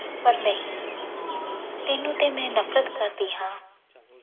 ਪਰ ਨਹੀਂ ਤੈਨੂੰ ਤੇ ਮੈਂ ਨਫ਼ਰਤ ਕਰਦੀ ਹਾਂ।